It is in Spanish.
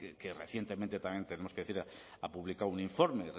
que recientemente también tenemos que decir ha publicado un informe